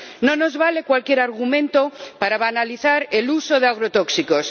No nos vale cualquier argumento para banalizar el uso de agrotóxicos.